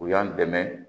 U y'an dɛmɛ